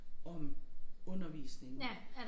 Om undervisningen